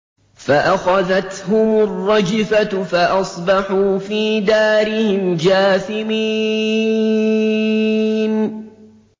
فَأَخَذَتْهُمُ الرَّجْفَةُ فَأَصْبَحُوا فِي دَارِهِمْ جَاثِمِينَ